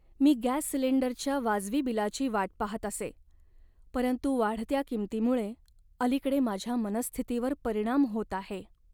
मी gas सिलिंडरच्या वाजवी बिलाची वाट पाहत असे, परंतु वाढत्या किंमतींमुळे अलीकडे माझ्या मनःस्थितीवर परिणाम होत आहे.